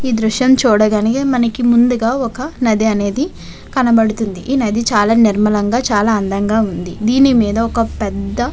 ఇ దుఎశం మనకు ముదుగా వక నది కనపడుతునాడు. ఏది నది నిర్మలగా చాలా చకగా ఉనాది.